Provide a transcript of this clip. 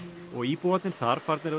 og íbúarnir þar farnir að